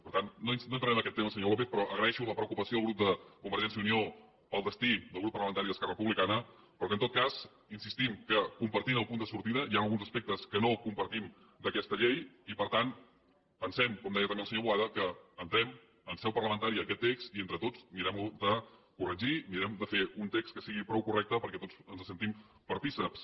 per tant no entraré en aquest tema senyor lópez però agraeixo la preocupació del grup de convergència i unió pel destí del grup parlamentari d’esquerra republicana però que en tot cas insistim que compartint el punt de sortida hi han alguns aspectes que no compartim d’aquesta llei i per tant pensem com deia també el senyor boada que entrem en seu parlamentària aquest text i entre tots mirem lo de corregir mirem de fer un text que sigui prou correcte perquè tots ens en sentim partícips